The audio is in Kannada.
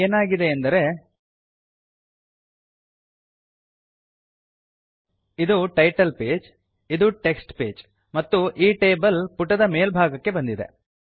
ಈಗ ಏನಾಗಿದೆಯೆಂದರೆ ಇದು ಟೈಟಲ್ ಪೇಜ್ ಇದು ಟೆಕ್ಸ್ಟ್ ಪೇಜ್ ಮತ್ತು ಈ ಟೇಬಲ್ ಪುಟದ ಮೇಲ್ಭಾಗಕ್ಕೆ ಬಂದಿದೆ